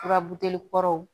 Furabuteli kɔrɔw